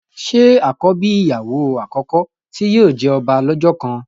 ṣe àkọ́bí ìyàwó àkọ́kọ́ tí yóò jẹ ọba lọ́jọ́ kan?